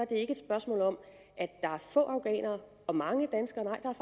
det ikke et spørgsmål om at der er få afghanere og mange danskere nej